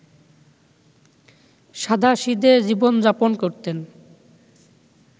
সাধাসিদে জীবন-যাপন করতেন